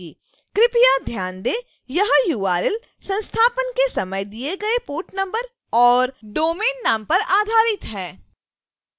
कृपया ध्यान दें यह url संस्थापन के समय दिए गए port number और domain नाम पर आधारित है